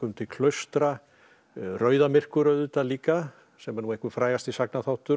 til klaustra auðvitað líka sem er nú einhver frægasti